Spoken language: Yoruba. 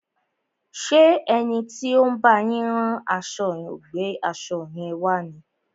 Ṣé ẹni tí ó ń bá yín rán aṣo ò gbé aṣo yẹn wá ni?